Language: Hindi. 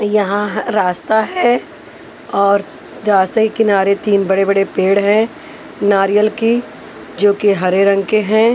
यहाँ हअ रास्ता है और रास्ते के किनारे तीन बड़े बड़े पेड़ हैं नारियल के जोकि हरे रंग के हैं।